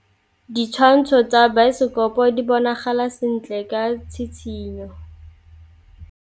Ditshwantshô tsa biosekopo di bonagala sentle ka tshitshinyô.